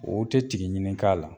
O te tigi ɲini k'a la.